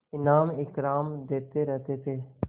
इनाम इकराम देते रहते थे